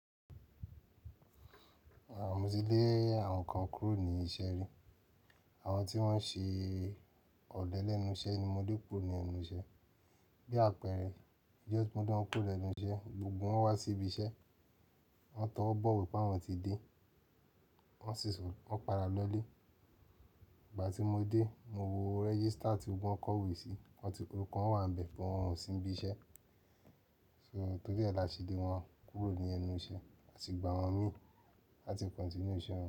Àwọn tí mo ti dé ẹyẹ àwọn kan kúrò ní iṣẹ́ rí. Àwọn tí wọ́n ṣe ọ̀lẹ lẹ́nu iṣẹ́ ni mo lé kúrò ní ẹnu iṣẹ́. Bí àpẹẹrẹ, ijọ́ ti mọ́ Le wọ́n kúrò lẹ́nu iṣẹ́, gbogbo wọn wá sí ibi iṣẹ́, wọn tọwọ́ bọ̀ wípé àwọn ti dé, wọ́n sì sọ wípé wọ́n padà lọlé. Ìgbà tí mo dé, mo wo rẹ́gísítà tí wọn kọ̀wé sí, wọn ti kúrò, kan wà níbẹ̀ kí wọn ó sì ń ibi iṣẹ́. So tọ́gẹ̀ ẹ la ṣe dé wọn kúrò ní ẹnu iṣẹ́, a sì gba wọn mi láti continue iṣẹ́ wọn.